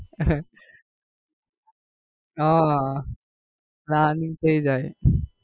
ઉહ planning થઇ જાય.